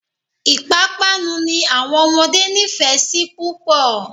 Ìpapánu ni àwọn ọmọdé nífẹ̀ẹ́ sí púpọ̀.